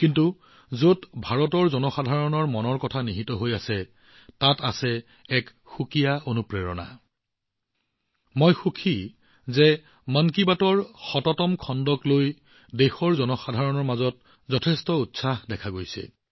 কিন্তু যত ভাৰতৰ জনসাধাৰণৰ মন কী বাতৰ কথা আহে সেই অনুপ্ৰেৰণা সম্পূৰ্ণৰূপে ভিন্ন হয় মই সুখী যে মন কী বাতৰ শততম দশম খণ্ড সন্দৰ্ভত দেশৰ জনসাধাৰণৰ মাজত যথেষ্ট উৎসাহৰ সৃষ্টি হৈছে